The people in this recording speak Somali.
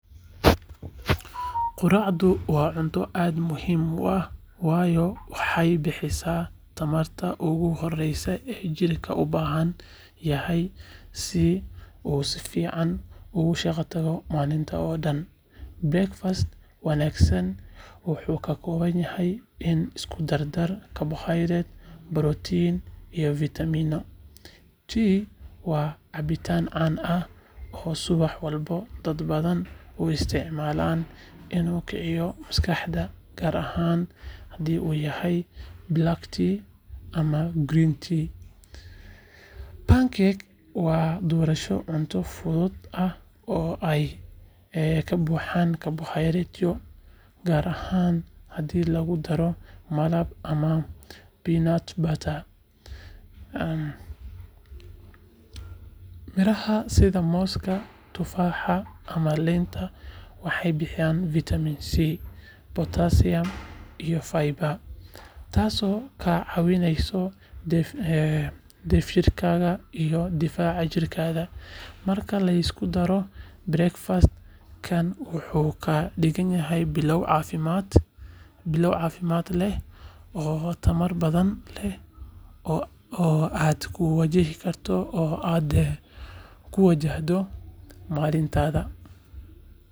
Quraacdu waa cunto aad muhiim u ah, waayo waxay bixisaa tamarta ugu horreysa ee jirka u baahan yahay si uu si fiican ugu shaqeeyo maalinta oo dhan. Breakfast wanaagsan wuxuu ka kooban yahay isku-darka karbohaydraytyo, borotiin, iyo fiitamiinno. Tea waa cabitaan caan ah oo subax walba dad badani u isticmaalaan inuu kiciyo maskaxda, gaar ahaan haddii uu yahay black tea ama green tea. Pancake waa doorasho cunto fudud ah oo ay ka buuxaan karbohaydraytyo, gaar ahaan haddii lagu daro malab ama peanut butter. Midhaha sida mooska, tufaaxa, ama liinta waxay bixiyaan fiitamiin C, potassium, iyo fiber taasoo kaa caawineysa dheefshiidkaaga iyo difaaca jirkaaga. Marka la isku daro, breakfast-kan wuxuu ka dhigayaa bilow caafimaad leh oo tamar badan leh oo aad ku wajahdo maalintaada.